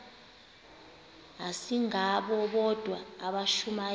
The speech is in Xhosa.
asingabo bodwa abashumayeli